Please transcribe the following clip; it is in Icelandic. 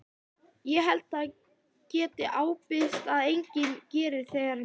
Ég held ég geti ábyrgst að enginn geri þér mein.